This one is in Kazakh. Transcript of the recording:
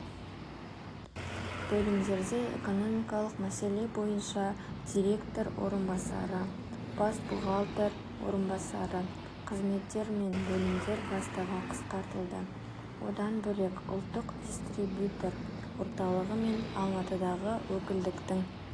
бөлімдерде экономикалық мәселе бойынша директор орынбасары бас бухгалтер орынбасары қызметтер мен бөлімдер бастығы қысқартылды одан бөлек ұлттықдистрибьютор орталығы мен алматыдағы өкілдіктің